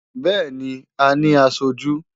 Bẹ́ẹ̀ni, a ní aṣojú.